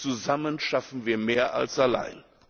zusammen schaffen wir mehr als allein.